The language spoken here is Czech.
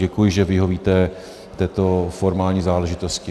Děkuji, že vyhovíte této formální záležitosti.